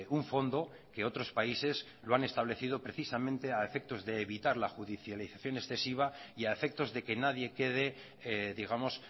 un fondo que otros países lo han establecido precisamente a efectos de evitar la judialización excesiva y a efectos de que nadie quede digamos